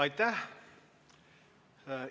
Aitäh!